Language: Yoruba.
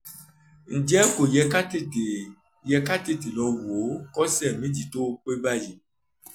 ǹjẹ́ kò yẹ ká tètè yẹ ká tètè lọ wò ó kọ́sẹ̀ méjì tó pé báyìí?